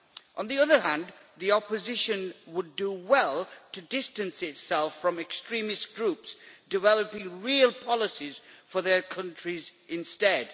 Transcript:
On the other hand, the opposition would do well to distance itself from extremist groups, developing real policies for their countries instead.